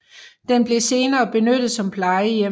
Den blev senere benyttet som plejehjem